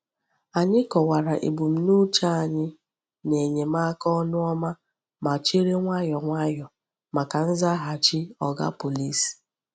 Anyị kọwara ebumnuche anyị n’enyemaka ọnụ ọma ma chere nwayọọ nwayọọ maka nzaghachi Oga Pọlịs.